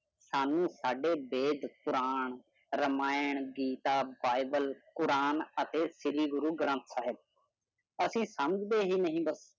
ਸਾਨੂੰ ਸਾਡੇ Veda, Quran, Ramayan, Gita, Bible, Quran ਅਤੇ ਸ਼੍ਰੀ ਗੁਰੂ ਗ੍ਰਥ ਸਾਹਿਬ ਅਸੀਂ ਸਮਝਦੇ ਹੀ ਨਹੀਂ ਬੱਸ।